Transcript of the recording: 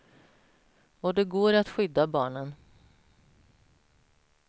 Och det går att skydda barnen.